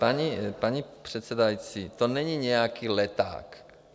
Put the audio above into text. Paní předsedající, to není nějaký leták.